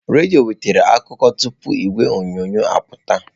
Redio wetara akụkọ tụpụ igwe onyonyo apụta.